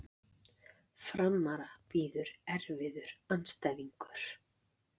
Framara bíður erfiður andstæðingur